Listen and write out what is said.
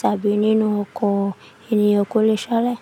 tàbí nínú ọkọ̀? Ènìyàn kò lè ṣalẹ̀.